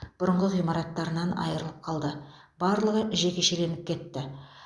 бұрынғы ғимараттарынан айрылып қалды барлығы жекешеленіп кетті